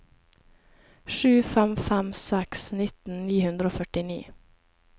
sju fem fem seks nitten ni hundre og førtini